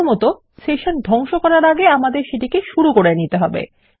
প্রথমতঃ session ধ্বংশ করার আগে আমাদের সেটিকে শুরু করতে হবে